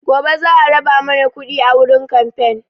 Gobe za a raba mana kuɗi wurin kamfen